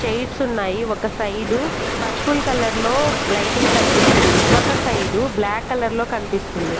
Chairs ఉన్నాయి ఒక side purple colour లో లైటింగ్ కనిపిస్తుంది. ఒక సైడు బ్లాక్ కలర్ లో కనిపిస్తుంది.